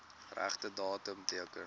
regte datum teken